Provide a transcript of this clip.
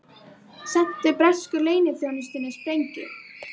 Sendu bresku leyniþjónustunni sprengju